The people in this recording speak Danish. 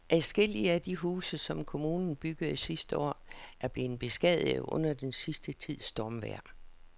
Adskillige af de huse, som kommunen byggede sidste år, er blevet beskadiget under den sidste tids stormvejr.